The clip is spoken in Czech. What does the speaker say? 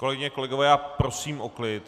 Kolegyně, kolegové, já prosím o klid.